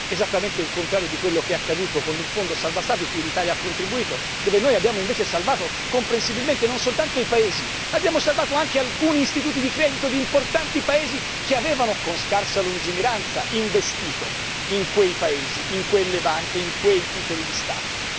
Esattamente il contrario di quello che è accaduto con il Fondo salva Stati cui l'Italia ha contribuito, dove noi abbiamo invece salvato, comprensibilmente, non soltanto i Paesi, abbiamo salvato anche alcuni istituti di credito di importanti Paesi che avevano con scarsa lungimiranza investito in quei Paesi, in quelle banche, in quei titoli di Stato.